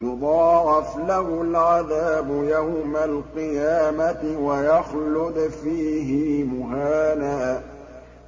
يُضَاعَفْ لَهُ الْعَذَابُ يَوْمَ الْقِيَامَةِ وَيَخْلُدْ فِيهِ مُهَانًا